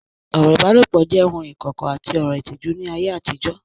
Ọ̀rọ̀ ìbálòpọ̀ jẹ́ ohun ìkọ̀kọ̀ àti ọ̀rọ̀ ìtìjú ní ayé àtijọ́